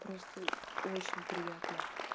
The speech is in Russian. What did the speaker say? просто очень приятно